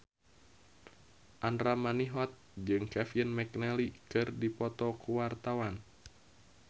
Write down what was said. Andra Manihot jeung Kevin McNally keur dipoto ku wartawan